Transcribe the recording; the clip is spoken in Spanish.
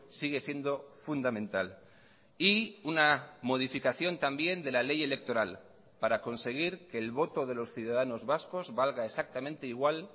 sigue siendo fundamental y una modificación también de la ley electoral para conseguir que el voto de los ciudadanos vascos valga exactamente igual